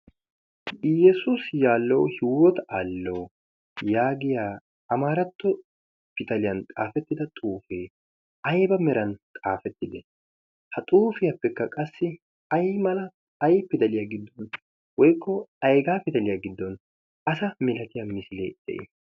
iyyesuusi yaallo hiuwota aallo' yaagiya a maaratto pitaliyan xaafettida xuufee aiba meran xaafettide ha xuufiyaappekka qassi ay mala ay pidaliyaa giddon woikko aigaa pidaliyaa giddon asa milatiyaa misilee de'ii?